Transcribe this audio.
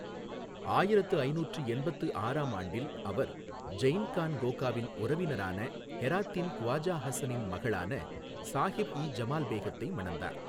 ஆயிரத்து ஐநூற்று எண்பத்து ஆறாம் ஆண்டில் அவர் ஜெயன் கான் கோகாவின் உறவினரான ஹெராத்தின் க்வாஜா ஹாசனின் மகளான சாஹிப் இ ஜமால் பேகத்தை மணந்தார்.